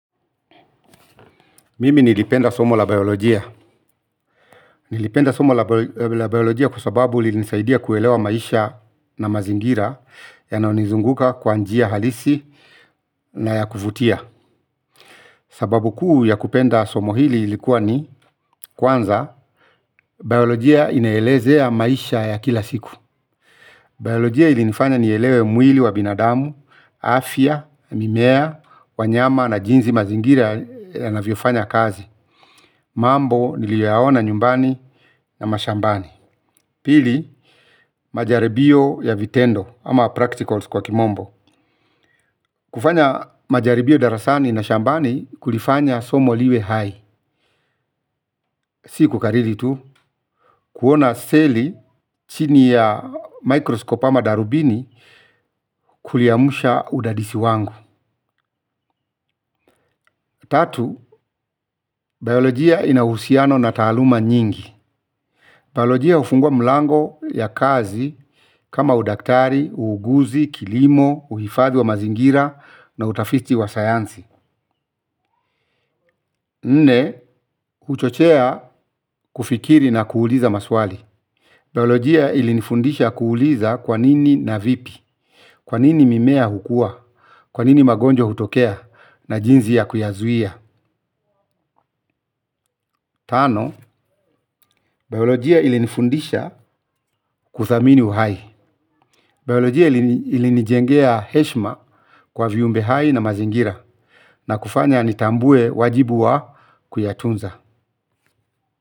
Mimi nilipenda somo la biolojia, nilipenda somo la biolojia kusababu li nisaidia kuelewa maisha na mazingira yanayonizunguka kwa njia halisi na ya kufutia. Sababu kuu ya kupenda somo hili likuwa ni kwanza, biolojia inaelezea maisha ya kila siku. Biolojia ilinifanya nielewe mwili wa binadamu, afya, mimea, wanyama na jinsi mazingira yanavyofanya kazi. Mambo nilioyaona nyumbani na mashambani. Pili, majaribio ya vitendo ama practicals kwa kimombo. Kufanya majaribio darasani na shambani kulifanya somo liwe hai. Sikukarili tu, kuona seli chini ya mikroskopu ama darubini kuliamsha udadisi wangu. Tatu, biolojia inahusiano na taaluma nyingi. Biolojia hufungua mlango ya kazi kama udaktari, uuguzi, kilimo, uhifadhi wa mazingira na utafiti wa sayansi. Nne, huchochea kufikiri na kuuliza maswali. Biolojia ilinifundisha kuuliza kwanini na vipi, kwanini mimea hukua, kwanini magonjwa hutokea na jinsi ya kuyazuia. Tano, biolojia ilinifundisha kuthamini uhai. Biolojia ilinijengea heshma kwa viumbe hai na mazingira na kufanya nitambue wajibu wa kuyatunza.